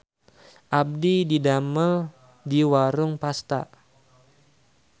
Abdi didamel di Warung Pasta